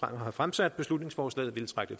har fremsat beslutningsforslaget ville trække